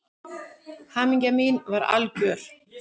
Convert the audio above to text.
Hamingja mín var algjör.